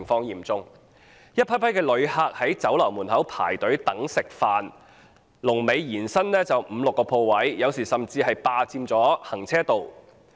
一批批旅客在酒樓門前輪候進餐，龍尾延伸至五六個鋪位後，有時甚至霸佔了行車道。